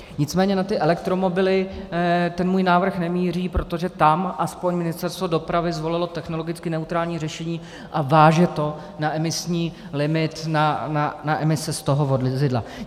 Nicméně na ty elektromobily ten můj návrh nemíří, protože tam aspoň Ministerstvo dopravy zvolilo technologicky neutrální řešení a váže to na emisní limit, na emise z tohoto vozidla.